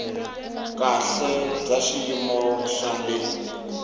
kahle bya xiyimo xa le